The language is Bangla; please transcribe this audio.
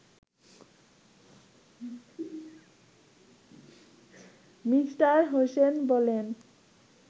মি হোসেন বলেন